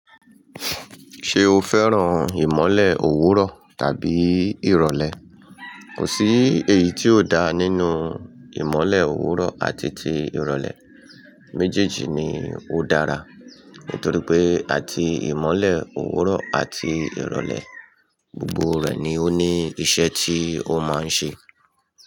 Ṣé o fẹ́ràn ìmọ̀le òwúrọ̀ tàbí ìrọ̀lẹ́? Kò sí èyí tí ó dá nínú ìmọ̀le òwúrọ̀ àti ti ìrọ̀lẹ́, méjèèjì ni ó dára. Nítorí pé àti ìmọ̀le òwúrọ̀ àti ìrọ̀lẹ́, gbogbo rẹ ni ó ní iṣẹ́ tí ó máa ń ṣe.